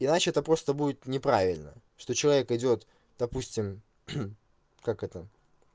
иначе это просто будет неправильно что человек идёт допустим как это